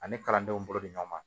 Ani kalandenw bolo bɛ ɲɔgɔn ma